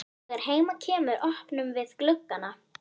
Þegar heim kemur opnum við gluggana.